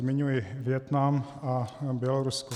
Zmiňuji Vietnam a Bělorusko.